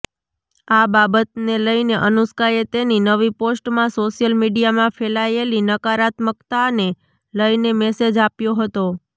આ બાબતને લઈને અનુષ્કાએ તેની નવી પોસ્ટમાં સોશિયલ મીડિયામાં ફેલાયેલી નકારાત્મકતાને લઈને મેસેજ આપ્યો હતો